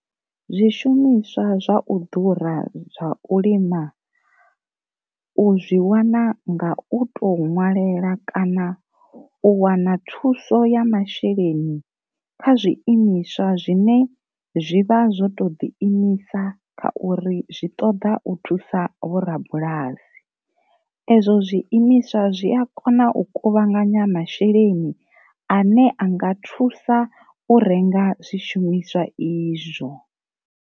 Zwi shumiswa zwa u ḓura zwa u lima, u zwi wana ngau to ṅwalela kana u wana thuso ya masheleni kha zwi imiswa zwine zwivha zwo to ḓi imisa kha uri zwi ṱoḓa u thusa vhorabulasi, ezwo zwiimiswa zwi a kona u kuvhanganya masheleni ane a nga thusa u renga zwi shumiswa izwo.